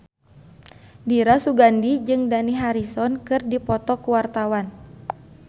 Dira Sugandi jeung Dani Harrison keur dipoto ku wartawan